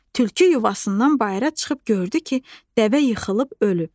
Tülkü yuvasından bayıra çıxıb gördü ki, dəvə yıxılıb ölüb.